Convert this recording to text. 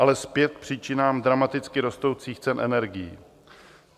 Ale zpět k příčinám dramaticky rostoucích cen energií.